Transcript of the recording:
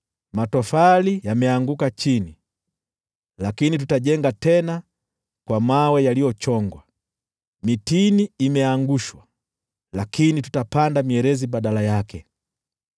“Matofali yameanguka chini, lakini tutajenga tena kwa mawe yaliyochongwa, mitini imeangushwa, lakini tutapanda mierezi badala yake.”